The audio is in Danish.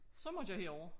Så måtte jeg herover